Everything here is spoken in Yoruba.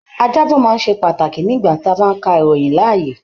Ajábọ̀ máa n sé pàtàkì nígbà tí a bá n ká ìròyìn láàyè.